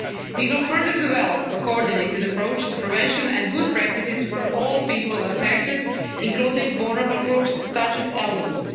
We will further develop a coordinated approach to prevention and good practices for all people affected, including vulnerable groups such as the elderly.